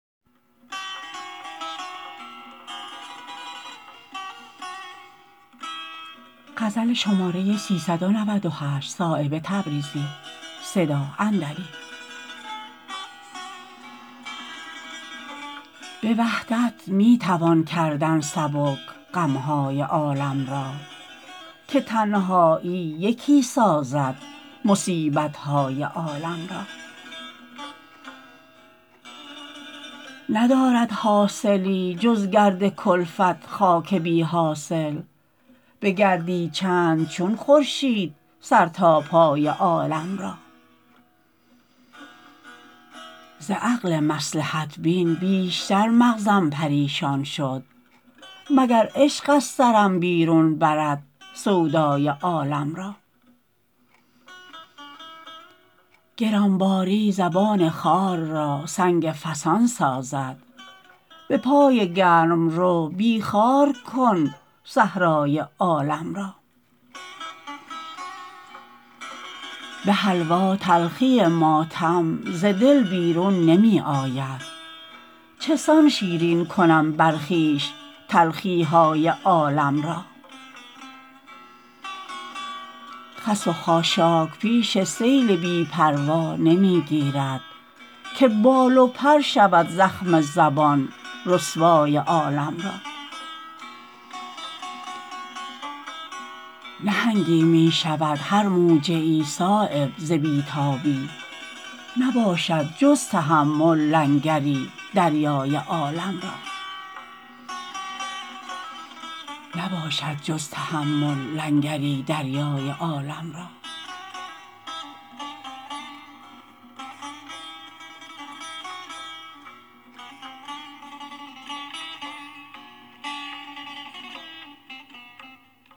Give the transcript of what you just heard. به وحدت می توان کردن سبک غم های عالم را که تنهایی یکی سازد مصیبت های عالم را ندارد حاصلی جز گرد کلفت خاک بی حاصل بگردی چند چون خورشید سر تا پای عالم را ز عقل مصلحت بین بیشتر مغزم پریشان شد مگر عشق از سرم بیرون برد سودای عالم را گرانباری زبان خار را سنگ فسان سازد به پای گرمرو بی خار کن صحرای عالم را به حلوا تلخی ماتم ز دل بیرون نمی آید چسان شیرین کنم بر خویش تلخی های عالم را خس و خاشاک پیش سیل بی پروا نمی گیرد که بال و پر شود زخم زبان رسوای عالم را نهنگی می شود هر موجه ای صایب ز بی تابی نباشد جز تحمل لنگری دریای عالم را